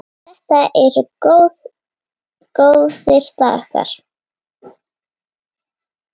Þetta eru góðir dagar.